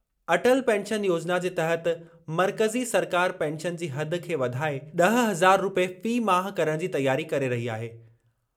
Atal pension योजिना जे तहत मर्कज़ी सरकार पेंशन जी हद खे वधाए ॾह हज़ार रूपए फ़ी माह करणु जी तयारी करे रही आहे।